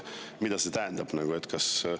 Mida see tähendab?